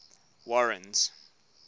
warren's